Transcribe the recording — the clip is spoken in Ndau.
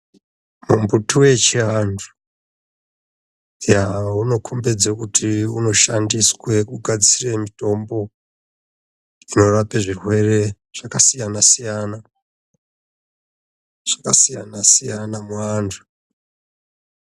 Mumbuti wechiantu unokombedze kuti unoshandiswe kunogadzire mitombo dzinorape zvirwere zvakasiyana siyana, zvakasiyana siyana muvantu.